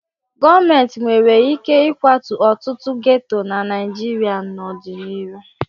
Gọọmentị nwere ike ịkwatu ọtụtụ geto na Naịjirịa n'ọdịnihu.